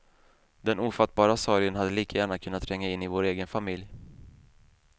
Den ofattbara sorgen hade lika gärna kunnat tränga in i vår egen familj.